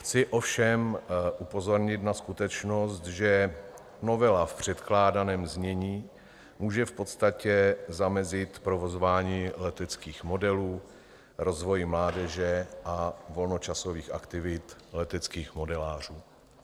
Chci ovšem upozornit na skutečnost, že novela v předkládaném znění může v podstatě zamezit provozování leteckých modelů, rozvoji mládeže a volnočasových aktivit leteckých modelářů.